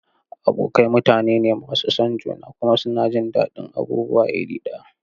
Abokai mutane ne masu son juna kuma suna jin daɗin abubuwa iri ɗaya.